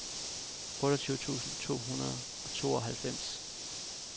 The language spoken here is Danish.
otteogtyve tusind to hundrede og tooghalvfems